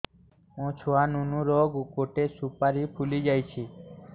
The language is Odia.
ମୋ ଛୁଆ ନୁନୁ ର ଗଟେ ସୁପାରୀ ଫୁଲି ଯାଇଛି